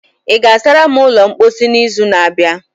ị ga-asara m ulo mposi n'izu na-abịa?